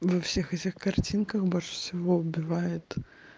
во всех этих картинках больше всего убивает